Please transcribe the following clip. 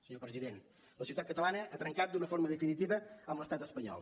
senyor president la societat catalana ha trencat d’una forma definitiva amb l’estat espanyol